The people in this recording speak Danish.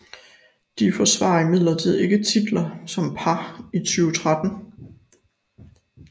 De forsvarer imidlertid ikke titlen som par i 2013